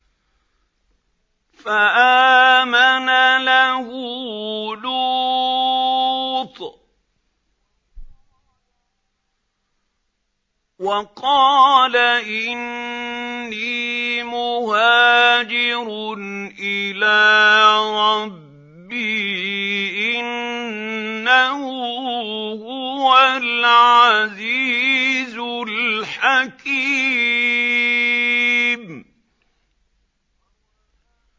۞ فَآمَنَ لَهُ لُوطٌ ۘ وَقَالَ إِنِّي مُهَاجِرٌ إِلَىٰ رَبِّي ۖ إِنَّهُ هُوَ الْعَزِيزُ الْحَكِيمُ